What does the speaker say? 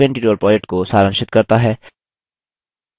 यह spoken tutorial project को सारांशित करता है